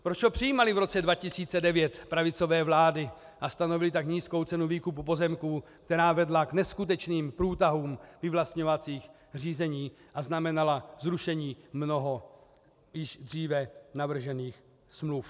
Proč ho přijímaly v roce 2009 pravicové vlády a stanovily tak nízkou cenu výkupu pozemků, která vedla k neskutečným průtahům vyvlastňovacích řízení a znamenala zrušení mnoha již dříve navržených smluv?